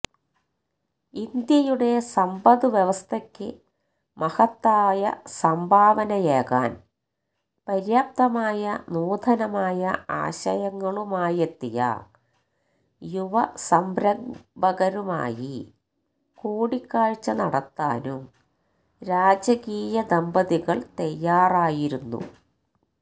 ഇന്ത്യയുടെ സമ്പദ് വ്യവസ്ഥയ്ക്ക് മഹത്തായ സംഭാവനയേകാന് പര്യാപ്തമായ നൂതനമായ ആശയങ്ങളുമായെത്തിയ യുവസംരംഭകരുമായി കൂടിക്കാഴ്ച നടത്താനും രാജകീയ ദമ്പതികള് തയ്യാറായിരുന്നു